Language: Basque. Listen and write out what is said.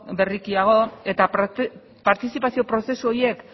berrikiago eta partizipazio prozesu horiek